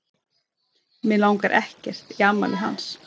Mig langar ekkert í afmælið hans.